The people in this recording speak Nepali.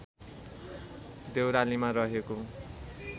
देउरालीमा रहेको